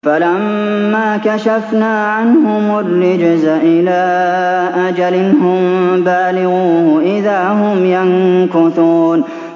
فَلَمَّا كَشَفْنَا عَنْهُمُ الرِّجْزَ إِلَىٰ أَجَلٍ هُم بَالِغُوهُ إِذَا هُمْ يَنكُثُونَ